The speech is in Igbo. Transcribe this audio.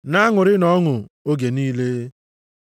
Na-aṅụrịnụ ọṅụ oge niile.